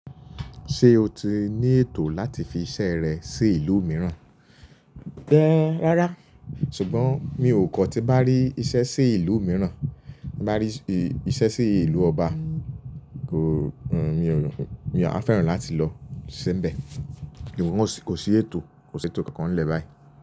Ṣé o ti ní ètò láti fi iṣẹ́ rẹ sí ìlú mìíràn? E, rárá. Ṣùgbọ́n mi ò kọ́ tí bá rí iṣẹ́ sí ìlú mìíràn, n bá rí iṣẹ́ sí ìlú ọba, kò, mi a feran láti lọ síbẹ̀. Ìwọ̀n kò sí ètò, kò sí ètò kankan nle bayi.